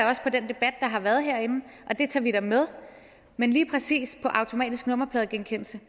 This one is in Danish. også til den debat der har været herinde og det tager vi da med men lige præcis automatisk nummerpladegenkendelse